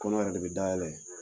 Kɔnɔ yɛrɛ de be dayɛlɛ